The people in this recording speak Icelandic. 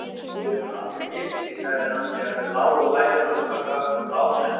Þú hefur aldrei gift þig, sagði hann þegar þau lágu bæði andvaka um lágnættið.